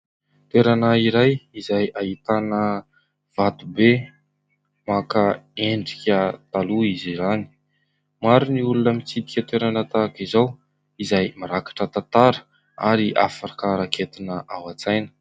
Toerana iray izay ahitana vato be maka endrika taloha izy izany. Maro ny olona mitsidika toerana tahaka izao izay mirakitra tantara ary afaka raketina ao an-tsaina.